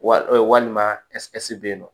Wa walima bɛ yen nɔ